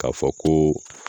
K'a fɔ koo